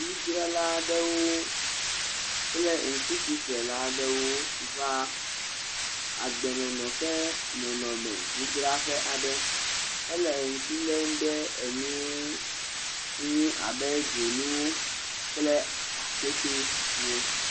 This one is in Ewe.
nufiala aɖewo kple nukusi ƒlela aɖewo wó va agbenɔnɔ ƒe nɔnɔme ŋudzraƒɛ aɖe éle ŋkulem ɖe enuwo ŋu abe dzonu kple akpetɛ